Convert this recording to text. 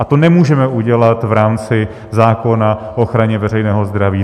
A to nemůžeme udělat v rámci zákona o ochraně veřejného zdraví.